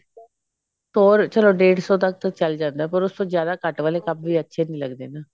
ਹੋਰ ਚਲੋ ਡੇਢ ਸੋ ਤੱਕ ਤਾਂ ਚਲ ਜਾਂਦਾ ਪਰ ਉਸ ਤੋਂ ਜਿਆਦਾ ਘੱਟ ਵਾਲੇ ਕੱਪ ਵੀ ਅੱਛੇ ਨਹੀਂ ਲਗਦੇ ਨਾ